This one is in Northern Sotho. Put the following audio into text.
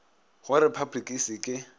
go repabliki e se ke